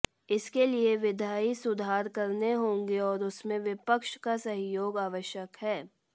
इसके लिए विधायी सुधार करने होंगे और उसमें विपक्ष का सहयोग आवश्यक है